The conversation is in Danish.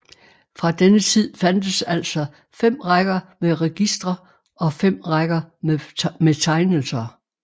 Fra denne tid fandtes altså 5 rækker med registre og 5 rækker med tegnelser